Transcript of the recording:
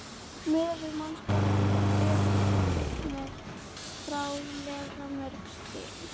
Út frá bakuggunum skaga langir broddar og áberandi dökkur blettur er á hvorri hlið.